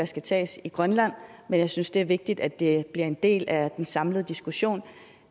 skal tages i grønland men jeg synes det er vigtigt at det bliver en del af den samlede diskussion